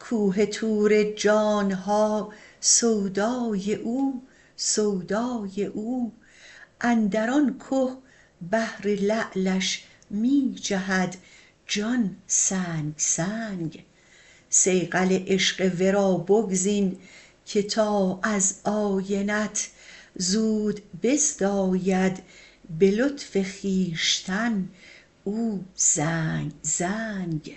کوه طور جان ها سودای او سودای او اندر آن که بهر لعلش می جهد جان سنگ سنگ صیقل عشق ورا بگزین که تا از آینه ات زود بزداید به لطف خویشتن او زنگ زنگ